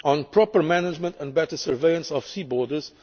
crime proper management and better surveillance of sea